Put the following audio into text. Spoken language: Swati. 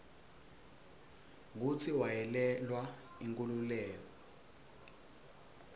kutsi wayelwela inkhululeko